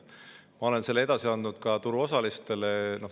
Ma olen selle edasi andnud ka turuosalistele.